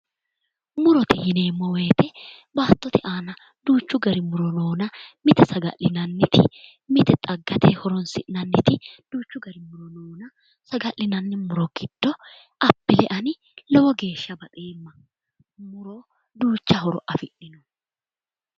Murote yineemo woyiite baatote aana duuchu gari muro noona mite saga'linannite mite xaggate horonsi'nannite saga'linanni muro giddo appile ani lowo geeshsha baxeemma duucha horo afidhino